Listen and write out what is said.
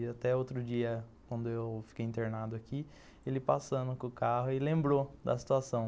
E até outro dia, quando eu fiquei internado aqui, ele passando com o carro e lembrou da situação.